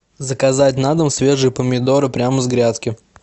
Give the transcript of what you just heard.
заказать на дом свежие помидоры прямо с грядки